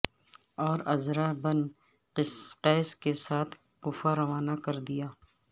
اور عزرہ بن قیس کے ساتھ کوفہ روانہ کر دیا